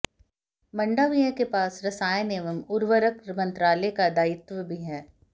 मंडाविया के पास रसायन एवं उर्वरक मंत्रालय का दायित्व भी है